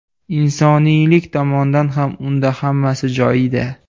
Insoniylik tomondan ham unda hammasi joyida.